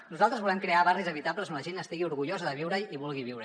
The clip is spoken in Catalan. nosaltres volem crear barris habitables on la gent estigui orgullosa de viure hi i hi vulgui viure